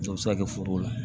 O bɛ se ka kɛ forow la